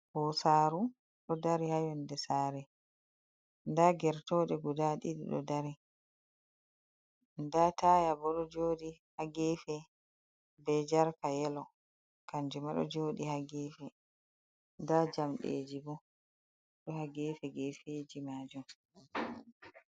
Ɓosaru ɗo dari hayonde sare. Nda gertoɗe guda ɗiɗi ɗo dari. Nda taya bo ɗo joɗi ha gefe, be jarka yelo kanjuma ɗo joɗi ha gefe. Nda jamɗeji bo ɗo ha gefe gefe ji majun.